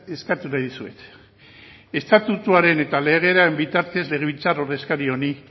eskatu nahi dizuet estatutuaren eta legearen bitartez legebiltzar ordezkariari